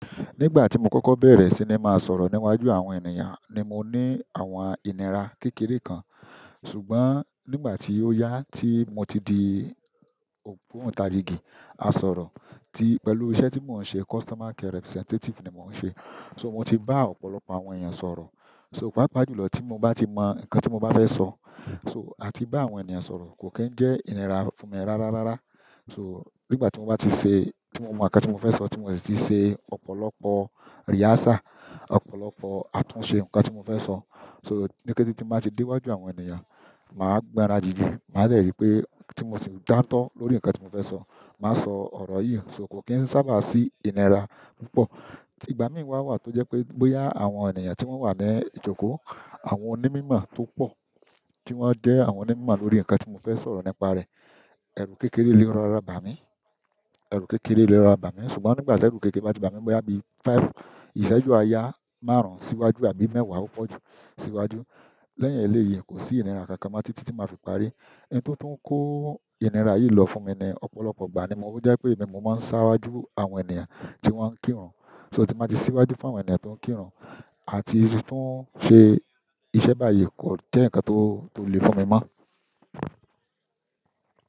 Nígbà tí mo kọ́kọ́ bẹ̀rẹ̀ sí ní máa sọ̀rọ̀ níwájú àwọn ènìyàn ni mo ní àwọn ìnira kékeré kan. Ṣùgbọ́n nígbà tí ó yá tí mo ti di ògbóǹtarìgì asọ̀rọ̀ tí pẹ̀lú iṣẹ́ tí mò ń ṣe, customer care representative ni mò ń ṣe. Sọ mo ti bá ọ̀pọ̀lọpọ̀ àwọn èèyàn sọ̀rọ̀. Sọ pàápàá jùlọ tí mo bá tí mọ nǹkan tí mo bá fẹ́ sọ, sọ àti bá àwọn ènìyàn sọ̀rọ̀ kò kí n jẹ́ ìnira fún mi rárá rárá. Sọ nígbà tí mo bá ti ṣe, tí mo mọ̀ nǹkan tí mo fẹ́ sọ, tí mo sì ti ṣe ọ̀pọ̀lọpọ̀ rehearsal, ọ̀pọ̀lọpọ̀ àtúnṣe nǹkan tí mo fẹ́ sọ sọ ní kété ti máa ṣe dé wájú àwọn ènìyàn, máa gbònra júju, máa lè rí pé tí mo sì ń jàǹto lórí nǹkan tí mo fẹ́ sọ, máa sọ ọ̀rọ̀ yìí. Sọ kò kín ṣábà sí ìnira púpọ̀. Ìgbà mi má wà tó jẹ́ pé bóyá àwọn ènìyàn tí wọ́n wà ní ìjókòó, àwọn onímọ̀ mímọ́ tó pọ̀ tí wọ́n jẹ àwọn onímọ̀ mímọ́ lórí nǹkan tí mo fẹ́ sọ̀rọ̀ nípa rẹ̀, ẹrú kékeré lé rọra bá mi, ẹrú kékeré lé rọra bá mi. Ṣùgbọ́n nígbà tí ẹ̀rù kékeré bá di bá mi bóyá bí five, ìṣẹ́jú aya márùn-ún síwájú àbí mẹ́wàá ó pọ̀jù síwájú. Lẹ́yìn eléyìí kò sí ìnira kankan mọ títí ti máa fi parí. Ohun tó tún ń kó ìnira yìí lọ fún mi ní ọ̀pọ̀lọpọ̀ ìgbà ni mo rí pé mi mo máa ń sawájú àwọn ènìyàn tí wọ́n ń kírun. Sọ ti máa sí síwájú fún àwọn ènìyàn tó ń kírun àti tún ṣe iṣẹ́ báyìí kò jẹ́ nǹkan tó lè fún mi mọ́.